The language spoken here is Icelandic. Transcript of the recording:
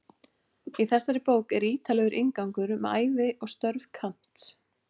Í þessari bók er ítarlegur inngangur um ævi og störf Kants.